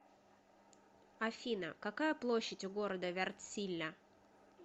афина какая площадь у города вяртсиля